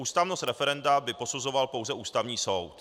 Ústavnost referenda by posuzoval pouze Ústavní soud.